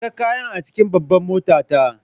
Saka kayan a cikin babbar motata!